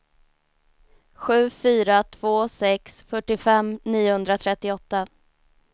sju fyra två sex fyrtiofem niohundratrettioåtta